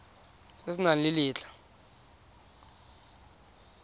se se nang le letlha